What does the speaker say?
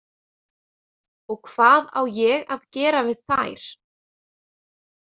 Og hvað á ég að gera við þær?